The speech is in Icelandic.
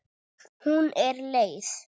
Hún er leið.